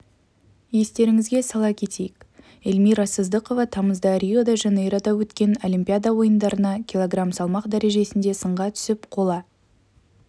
естеріңізге сала кетейік эльмира сыздықова тамызда рио-де-жанейрода өткен олимпиада ойындарына кг салмақ дәрежесінде сынға түсіп қола